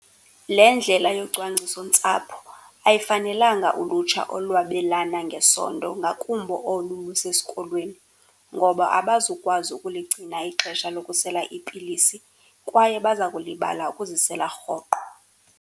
Le ndlela yocwangcisontsapho ayifanelanga ulutsha olwabelana ngesondo, ngakumbi olu lusesikolweni, ngoba abazukwazi ukuligcina ixesha lokusela iipilisi kwaye baza kulibala ukuzisela rhoqo.